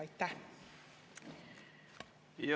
Aitäh!